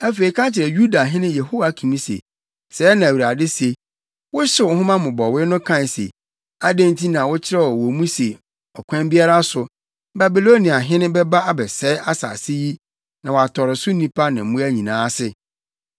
Afei ka kyerɛ Yudahene Yehoiakim se, ‘Sɛɛ na Awurade se: Wohyew nhoma mmobɔwee no kae se: “Adɛn nti na wokyerɛw wɔ mu se ɔkwan biara so, Babiloniahene bɛba abɛsɛe asase yi na watɔre so nnipa ne mmoa nyinaa ase?”